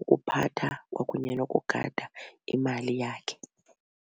ukuphatha kwakunye nokugada imali yakhe.